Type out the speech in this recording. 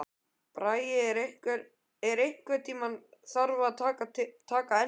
Bragi, einhvern tímann þarf allt að taka enda.